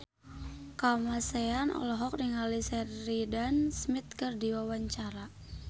Kamasean olohok ningali Sheridan Smith keur diwawancara